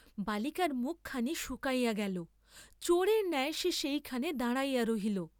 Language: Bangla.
বালিকার মুখখানি শুকাইয়া গেল, চোরের ন্যায় সে সেইখানে দাঁড়াইয়া রহিল।